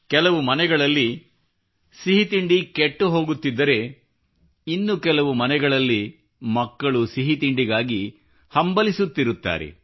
ಕೆಲವು ಮನೆಗಳಲ್ಲಿ ಸಿಹಿ ತಿಂಡಿ ಕೆಟ್ಟು ಹೋಗುತ್ತಿದ್ದರೆ ಇನ್ನು ಕೆಲವು ಮನೆಗಳಲ್ಲಿ ಮಕ್ಕಳು ಸಿಹಿತಿಂಡಿಗಾಗಿ ಹಂಬಲಿಸುತ್ತಿರುತ್ತಾರೆ